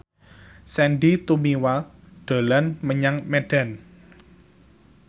Sandy Tumiwa dolan menyang Medan